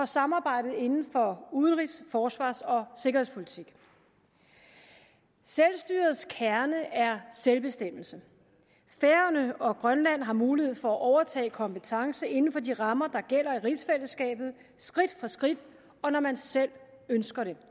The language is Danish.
samarbejde inden for udenrigs forsvars og sikkerhedspolitik selvstyrets kerne er selvbestemmelse færøerne og grønland har mulighed for at overtage kompetence inden for de rammer der gælder i rigsfællesskabet skridt for skridt og når man selv ønsker det